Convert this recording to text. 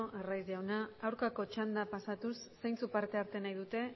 arraiz jauna aurkako txanda pasatuz zeintzuk parte hartu nahi dute